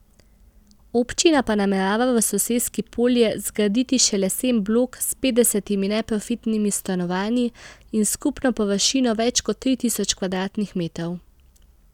Občina pa namerava v soseski Polje zgraditi še lesen blok s petdesetimi neprofitnimi stanovanji in skupno površino več kot tri tisoč kvadratnih metrov.